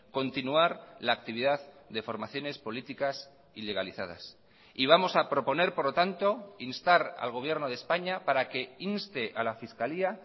continuar la actividad de formaciones políticas ilegalizadas y vamos a proponer por lo tanto instar al gobierno de españa para que inste a la fiscalía